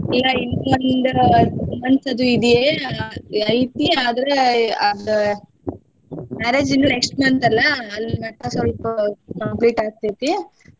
ಇನ್ನ ಇಲ್ಲ ಇನ್ನೊಂದ month ದು ಇದೆ ಐತಿ ಆದ್ರ marriage ಇನ್ನು next month ಅಲ್ಲಾ ಅಲ್ಲಿ ಮಟಾ ಸ್ವಲ್ಪ complete ಆಗ್ತೇತಿ.